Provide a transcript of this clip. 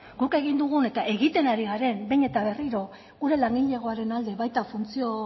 guk egin dugun eta egiten ari garen behin eta berriro gure langilegoaren alde baita funtzio